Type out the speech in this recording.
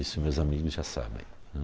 Isso meus amigos já sabem, né.